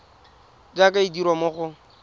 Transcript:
jaaka e dirwa mo go